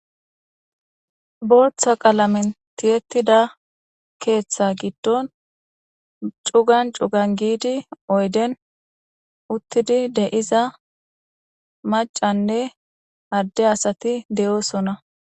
Bortha qalamen tiyettida keeththa giddon cugan cugan giidi oyden uttidi deiza macanne adde asati de'oosona.